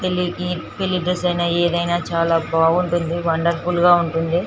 పెళ్ళికి పెళ్లి డ్రెస్ ఐన ఏదైనా చాల బాగుంటుంది వండర్ఫుల్ గ ఉంటుంది .